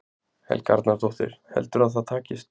Helga Arnardóttir: Heldurðu að það takist?